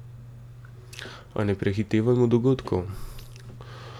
A ne prehitevajmo dogodkov.